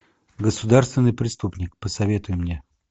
государственный преступник посоветуй мне